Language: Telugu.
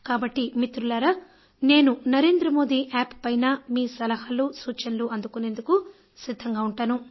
కాబట్టి మిత్రులారా నేను నరేంద్ర మోదీ యాప్ పైన మీ సలహాలు సూచనలు అందుకునేందుకు సిద్ధంగా ఉంటాను